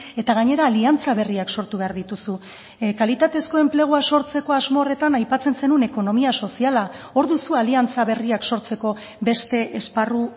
eta gainera aliantza berriak sortu behar dituzu kalitatezko enplegua sortzeko asmo horretan aipatzen zenuen ekonomia soziala hor duzu aliantza berriak sortzeko beste esparru